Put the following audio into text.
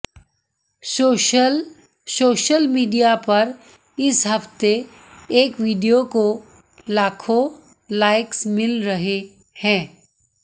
social social media पर इस हफ्ते एक वीडियो को लाखों लाइक्स मिल रहे हैं